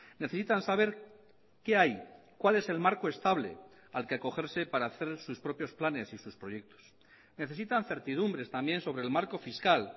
necesitan saber qué hay cuál es el marco estable al que acogerse para hacer sus propios planes y sus proyectos necesitan certidumbres también sobre el marco fiscal